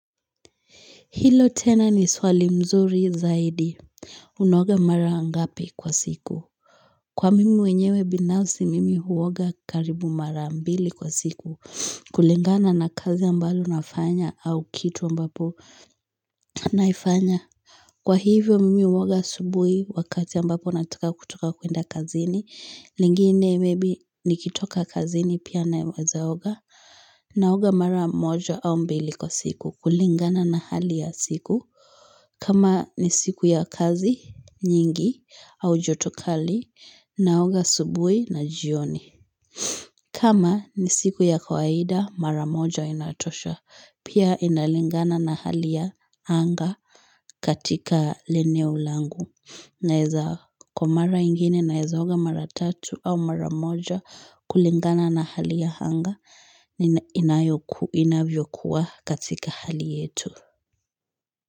Hilo tena ni swali mzuri zaidi. Unaoga mara ngapi kwa siku. Kwa mimi mwenyewe binafsi mimi huoga karibu mara mbili kwa siku. Kulingana na kazi ambalo nafanya au kitu ambapo naifanya. Kwa hivyo mimi huoga asubuhi wakati ambapo natoka kutoka kuenda kazini. Lingine maybe nikitoka kazini pia na wezaoga. Naoga mara moja au mbili kwa siku. Kulingana na hali ya siku. Kama ni siku ya kazi, nyingi, au jotokali, naoga asubuhi na jioni. Kama ni siku ya kawaida, mara moja inatosha. Pia inalingana na hali ya hanga katika leneu langu. Naiza kwa maara ingine naizaoga mara tatu au mara moja kulingana na hali ya hanga inavyokuwa katika hali yetu.